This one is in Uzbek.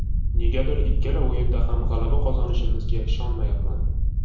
Negadir ikkala o‘yinda ham g‘alaba qozonishimizga ishonyapman.